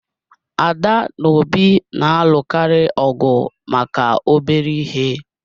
Ada na Obi na-alụkarị ọgụ maka obere ihe